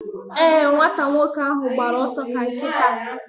Ee, nwata nwoke ahụ gbara ọsọ ka nkịta